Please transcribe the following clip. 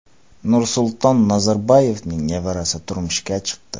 Nursulton Nazarboyevning nevarasi turmushga chiqdi.